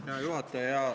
Hea juhataja!